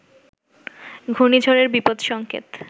ঘূর্ণিঝড়ের বিপদ সংকেত